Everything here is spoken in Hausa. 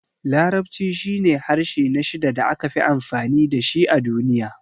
Larabci shine harshe na shida da aka fi amfani da shi a duniya.